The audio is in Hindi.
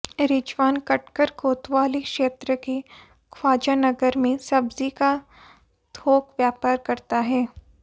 रिजवान कटघर कोतवाली क्षेत्र के ख्वाजा नगर में सब्जी का थोक व्यापार करता है